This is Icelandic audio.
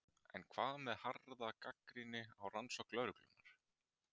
En hvað með harða gagnrýni á rannsókn lögreglunnar?